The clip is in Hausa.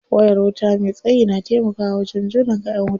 Wayar wuta me tsayi na taimakawa wajen jona kayan wuta.